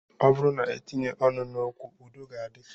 Ọ bụrụ na e tinye ọnụ n'okwu, udo ga-adị